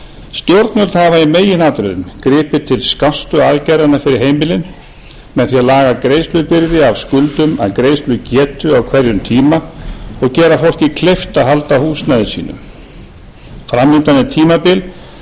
stjórnvöld hafa í meginatriðum gripið til skástu aðgerðanna fyrir heimilin með því að laga greiðslubyrði af skuldum af greiðslugetu á hverjum tíma og gera fólki kleift að halda húsnæði sínu framundan er tímabil